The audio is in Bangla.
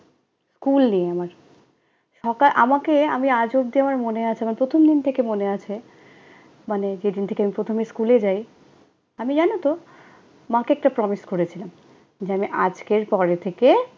স্কুল নেই আমার। সকাল আমাকে, আমি আজ অবধি আমার মনে আছে, আমার প্রথম দিন থেকে মনে আছে, মানে যেদিন থেকে আমি প্রথমে স্কুলে যাই, আমি জানতো, মাকে একটা promise করেছিলাম, যে আমি আজকের পরে থেকে